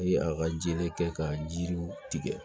a ka jeli kɛ ka jiriw tigɛ